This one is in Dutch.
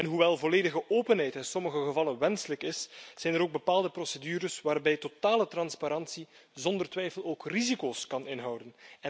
Hoewel volledige openheid in sommige gevallen wenselijk is, zijn er ook bepaalde procedures waarbij totale transparantie zonder twijfel ook risico's kan inhouden.